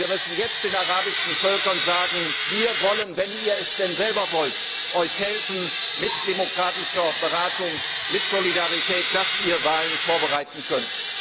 Wir müssen jetzt den arabischen Völkern sagen Wir wollen wenn ihr es denn selber wollt euch mit demokratischer Beratung, mit Solidarität helfen, damit ihr Wahlen vorbereiten könnt.